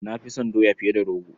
Na fi son doya fiye da rogo.